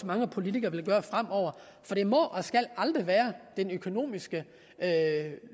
mange politikere vil gøre fremover for det må og skal aldrig være den økonomisk